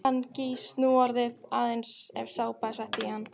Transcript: Hann gýs núorðið aðeins ef sápa er sett í hann.